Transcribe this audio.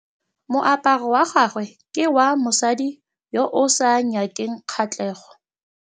Moaparô wa gagwe ke wa mosadi yo o sa ngôkeng kgatlhegô.